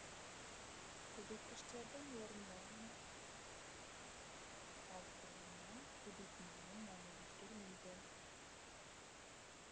көбейткіштердің орындарын ауыстырғаннан көбейтіндінің мәні өзгермейді